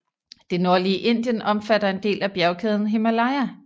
Det nordlige Indien omfatter en del af bjergkæden Himalaya